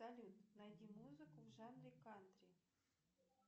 салют найди музыку в жанре кантри